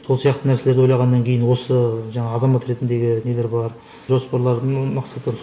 сол сияқты нәрселерді ойлағаннан кейін осы жаңағы азамат ретіндегі нелер бар жоспарлардың